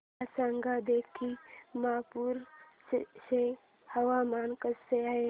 मला सांगा लखीमपुर चे हवामान कसे आहे